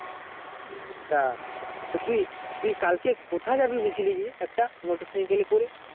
আচ্ছা তুই কালকে কোথায় জানিস বলছিলি একটা motor cycle এ করে